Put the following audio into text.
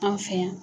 An fɛ yan